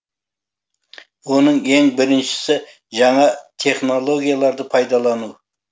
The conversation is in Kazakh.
оның ең біріншісі жаңа технологияларды пайдалану